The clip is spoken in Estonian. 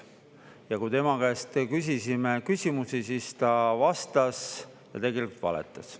Ja kui tema käest küsisime küsimusi, siis ta vastas ja tegelikult valetas.